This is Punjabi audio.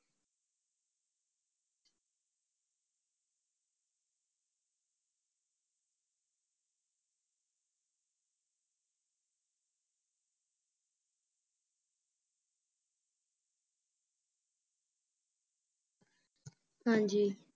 ਹਾਂਜੀ